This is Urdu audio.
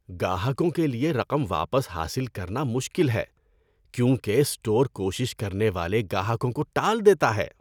گاہکوں کے لیے رقم واپس حاصل کرنا مشکل ہے کیونکہ اسٹور کوشش کرنے والے گاہکوں کو ٹال دیتا ہے۔